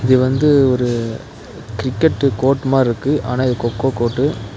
இது வந்து ஒரு கிரிக்கெட்டு கோர்ட் மாறிருக்கு ஆனா இது கொக்கோ கோர்ட்டு .